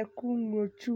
ɛko ŋlo tsu